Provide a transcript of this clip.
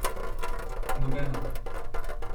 Nobena.